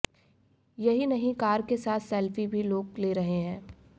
यही नहीं कार के साथ सेल्फी भी लोग ले रहे हैं